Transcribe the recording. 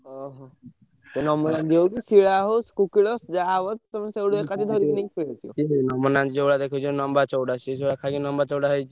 ଓହୋ।